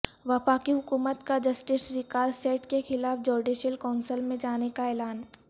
وفاقی حکومت کا جسٹس وقار سیٹھ کے خلاف جوڈیشل کونسل میں جانے کا اعلان